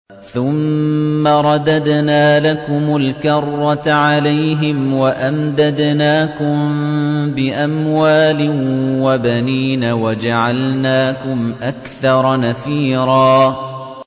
ثُمَّ رَدَدْنَا لَكُمُ الْكَرَّةَ عَلَيْهِمْ وَأَمْدَدْنَاكُم بِأَمْوَالٍ وَبَنِينَ وَجَعَلْنَاكُمْ أَكْثَرَ نَفِيرًا